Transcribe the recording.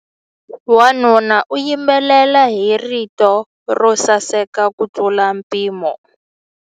Wanuna u yimbelela hi rito ro saseka kutlula mpimo.